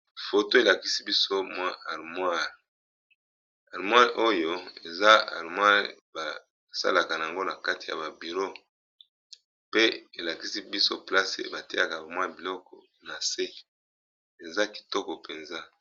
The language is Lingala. Foto elakisi biso mwa harmoire, harmoire oyo eza harmoire basalaka nango na kati ya ba bureau pe elakisi biso place bateyaka ba mwa biloko na se eza kitoko mpenza.